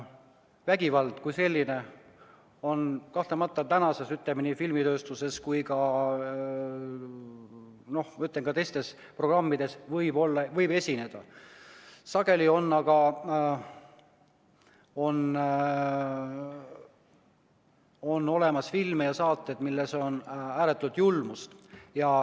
Vägivalda kui sellist kahtlemata tänases filmitööstuses ja teistes programmides võib esineda, aga on olemas ka selliseid filme ja saateid, milles on ääretut julmust.